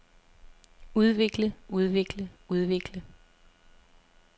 udvikle udvikle udvikle